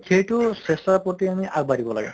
সেইটো চেষ্টাৰ প্ৰতি আমি আগ বাঢ়িব লাগে